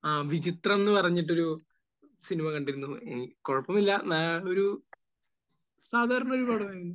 ആ വിചിത്രം എന്ന് പറഞ്ഞിട്ടൊരു സിനിമ കണ്ടിരുന്നു. കുഴപ്പമൊന്നുമില്ല. നല്ല ഒരു സാധാരണ ഒരു പടമായിരുന്നു.